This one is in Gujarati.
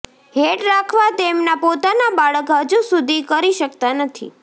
હેડ રાખવા તેમના પોતાના બાળક હજુ સુધી કરી શકતા નથી